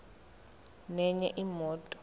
nenye imoto